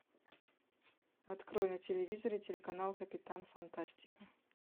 открой на телевизоре телеканал капитан фантастика